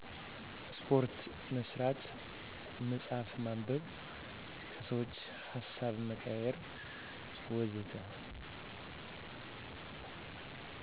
ስፓርት መስራት፣ መፅሃፍ ማንበብ፣ ከሰዎች ሀሳብ መቀያየር ወዘተ